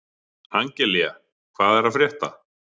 Angelía, hvað er að frétta?